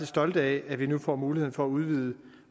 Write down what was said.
stolte af at vi nu får mulighed for at udvide